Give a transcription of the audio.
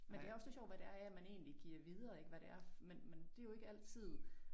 Men det er også lidt sjovt hvad det er jeg man egentlig giver videre ik hvad det er men men det jo ikke altid